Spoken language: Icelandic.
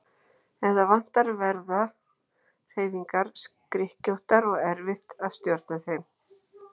Ef það vantar verða hreyfingar skrykkjóttar og erfitt að stjórna þeim.